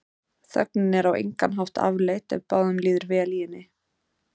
Þögnin er á engan hátt afleit ef báðum líður vel í henni.